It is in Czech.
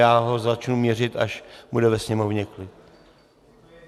Já ho začnu měřit, až bude ve sněmovně klid.